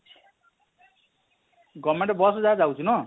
govement bus ଯାହା ଯାଉଛେ ନାଁ?